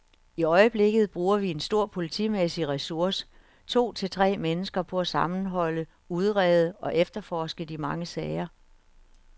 I øjeblikket bruger vi en stor politimæssig ressource, to til tre mennesker, på at sammenholde, udrede og efterforske de mange sager.